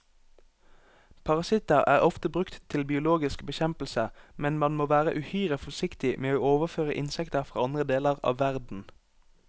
Parasitter er ofte brukt til biologisk bekjempelse, men man må være uhyre forsiktig med å overføre insekter fra andre deler av verden.